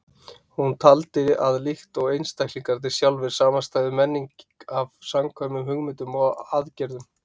Hún taldi að líkt og einstaklingarnir sjálfir samanstæði menning af samkvæmum hugmyndum og aðgerðum.